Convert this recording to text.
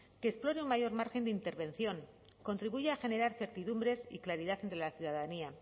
que explore un mayor margen de intervención contribuya a generar certidumbres y claridad entre la ciudadanía